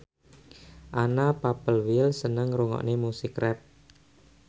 Anna Popplewell seneng ngrungokne musik rap